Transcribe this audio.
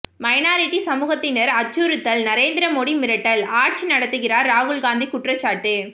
minority சமூகத்தினர் அச்சுறுத்தல்நரேந்திர மோடி மிரட்டல் ஆட்சி நடத்துகிறார் ராகுல்காந்தி குற்றச்சாட்டு